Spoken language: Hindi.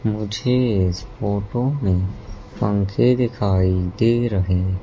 मुझे इस फोटो में पंखे दिखाई दे रहें--